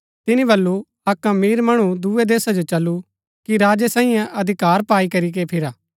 तिनी वलु अक्क अमीर मणु दूये देशा जो चलु कि राजै सांईयै अधिकार पाई करीके फिरा